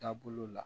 Taabolo la